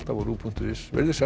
á rúv punktur is veriði sæl